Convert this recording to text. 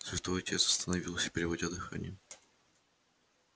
святой отец остановился переводя дыхание